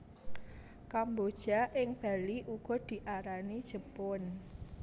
Kemboja ing Bali uga diarani jepun